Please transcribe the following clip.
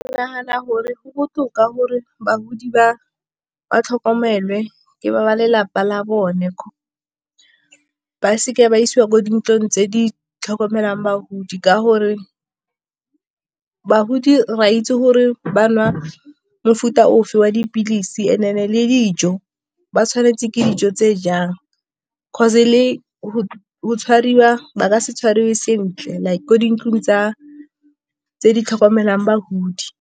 Ke nagana gore go botoka gore bagodi ba tlhokomele ke ba lelapa la bone, ba seke ba isiwa ko dintlong tse di tlhokomelang bagodi ka gore bagodi re a itse gore ba nwa mofuta ofe wa dipilisi le dijo ba tshwanetse ke dijo tse jang, 'cause le go tshwariwa ba ka se tshwariwe sentle like ko dintlong tse di tlhokomelang bagodi.